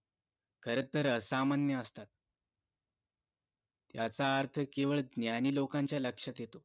खरं तर असामान्य असतात याचा अर्थ केवळ ज्ञानी लोकांच्या लक्षात येतो